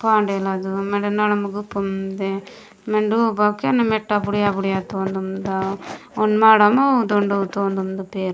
फांडेला जो मेड नड़ मुगु फूंडे मेडो बाकी न मेटा बढ़िया बढ़िया तोंन मुंडे उन माडा मऊ तउ धेंदा तउ रमे--